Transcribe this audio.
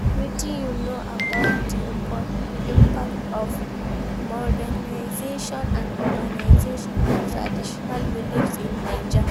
Wetin you know about di impact of modernization and urbanization on traditional beliefs in Naija?